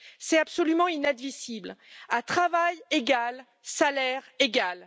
C'est absolument inadmissible. À travail égal, salaire égal!